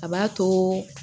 A b'a to